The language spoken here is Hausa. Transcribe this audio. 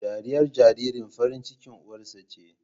Dariyar jariri farin cikin uwarsa ce